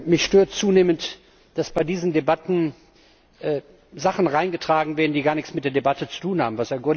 Mich stört zunehmend, dass in diese Debatten Sachen hineingetragen werden, die gar nichts mit der Debatte zu tun haben.